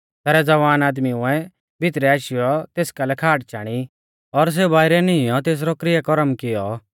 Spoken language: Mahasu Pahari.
तैबै ज़वान आदमीउऐ भितरै आशीयौ तेस कालै खाट चाणी और सेऊ बाइरै नींइयौ तेसरौ किरया करम कियौ